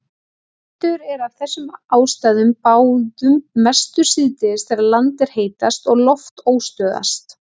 Vindur er af þessum ástæðum báðum mestur síðdegis þegar land er heitast og loft óstöðugast.